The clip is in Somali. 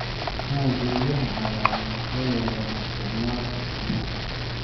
Dhismaha guryaha cagaaran waxay yareeyaan isticmaalka tamarta.